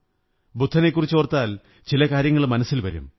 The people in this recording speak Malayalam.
ബുദ്ധനെക്കുറിച്ചോര്ത്താ്ൽ ചില കാര്യങ്ങൾ മനസ്സിൽ വരും